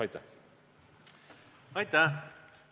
Aitäh!